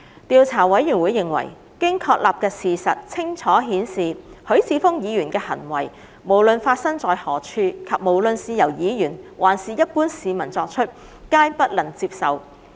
調查委員會認為，經確立的事實清楚顯示，許智峯議員的行為無論發生在何處，且無論是由議員還是一般市民作出，皆不能接受。